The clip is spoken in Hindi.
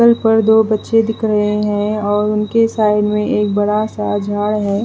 छत पर दो बच्चे दिख रहे हैं और उनके साइड में एक बड़ा सा झाड़ है।